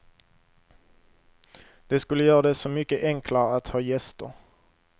Det skulle göra det så mycket enklare att ha gäster.